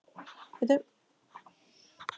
Valdheiður, hækkaðu í hátalaranum.